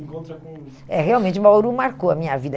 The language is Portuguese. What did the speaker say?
Se encontra com... Realmente, Bauru marcou a minha vida.